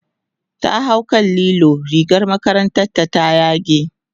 ta hau kan lilo rigar makarantar ta ta yage